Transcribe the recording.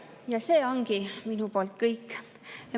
Ja see ongi minu poolt kõik.